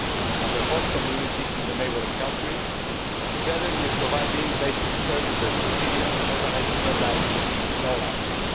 and their host communities in the neighbouring countries, together with providing basic services to Syrians organising their lives in all areas.